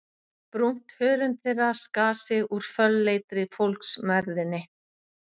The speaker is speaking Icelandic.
Brúnt hörund þeirra skar sig úr fölleitri fólksmergðinni.